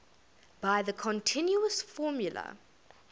by the continuous formula